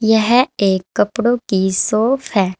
यह एक कपड़ो की शॉप है।